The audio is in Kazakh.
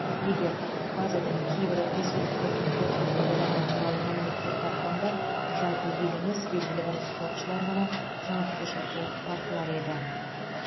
егер базадан кейбір ресейліктердің допинг қабылдағаны туралы мәліметтер тапқанда жалпы ел емес белгілі бір спортшылар ғана жауапкершілікке тартылар еді